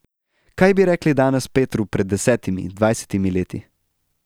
Kaj bi rekli danes Petru pred desetimi, dvajsetimi leti?